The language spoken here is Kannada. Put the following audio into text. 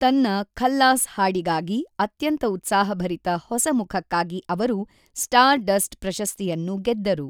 ತನ್ನ 'ಖಲ್ಲಾಸ್' ಹಾಡಿಗಾಗಿ ಅತ್ಯಂತ ಉತ್ಸಾಹಭರಿತ ಹೊಸ ಮುಖಕ್ಕಾಗಿ ಅವರು ಸ್ಟಾರ್‌ಡಸ್ಟ್‌ ಪ್ರಶಸ್ತಿಯನ್ನು ಗೆದ್ದರು.